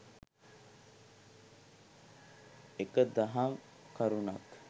එක දහම් කරුණක්